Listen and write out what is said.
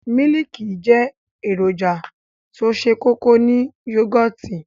Mílìkì jẹ́ èròjà tó se kókó ní yógòtì.